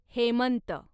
Hemant